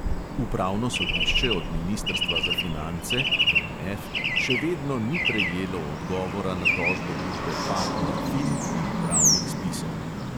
Upravno sodišče od ministrstva za finance še vedno ni prejelo odgovora na tožbo družbe partner fin in upravnih spisov.